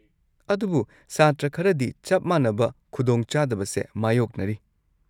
ꯑꯗꯨꯕꯨ ꯁꯥꯇ꯭ꯔ ꯈꯔꯗꯤ ꯆꯞ ꯃꯥꯟꯅꯕ ꯈꯨꯗꯣꯡ ꯆꯥꯗꯕꯁꯦ ꯃꯥꯌꯣꯛꯅꯔꯤ꯫